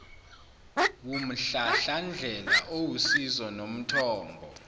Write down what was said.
wumhlahlandlela owusizo nomthombo